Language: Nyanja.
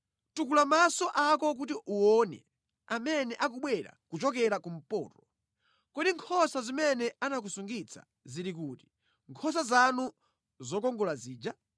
Tukula maso ako kuti uwone amene akubwera kuchokera kumpoto. Kodi nkhosa zimene anakusungitsa zili kuti, nkhosa zanu zokongola zija?